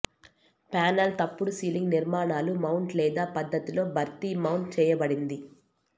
panel తప్పుడు ceiling నిర్మాణాలు mount లేదా పద్ధతిలో భర్తీ మౌంట్ చేయబడింది